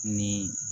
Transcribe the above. Ni